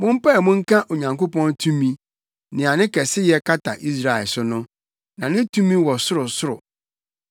Mompae mu nka Onyankopɔn tumi, nea ne kɛseyɛ kata Israel so no, na ne tumi wɔ soro ɔsoro no.